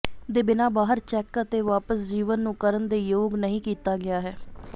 ਦੇ ਬਿਨਾ ਬਾਹਰ ਚੈੱਕ ਅਤੇ ਵਾਪਸ ਜੀਵਨ ਨੂੰ ਕਰਨ ਦੇ ਯੋਗ ਨਹੀ ਕੀਤਾ ਗਿਆ ਹੈ